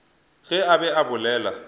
ge a be a bolela